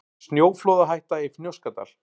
Snjóflóðahætta í Fnjóskadal